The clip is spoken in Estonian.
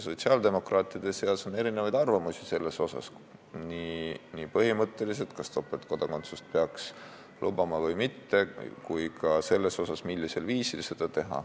Sotsiaaldemokraatide seas on erinevaid arvamusi selles osas, kas topeltkodakondsust üldse peaks lubama või mitte, samuti selles osas, et kui lubada, siis millisel viisil.